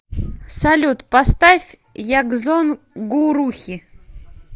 салют поставь ягзон гурухи